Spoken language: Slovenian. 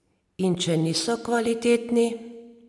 In če niso kvalitetni ...